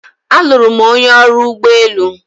Alụrụ m onye ọrụ ụgbọ elu.